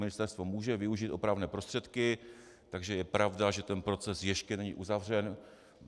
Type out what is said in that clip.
Ministerstvo může využít opravné prostředky, takže je pravda, že ten proces ještě není uzavřen.